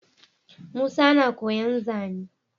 Musa na koyan zane